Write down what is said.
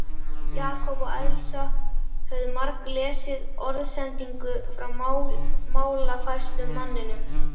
Jakob og Elsa höfðu marglesið orðsendinguna frá málafærslumanninum.